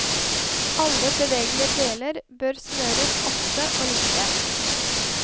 Alle bevegelige deler bør smøres ofte og lite.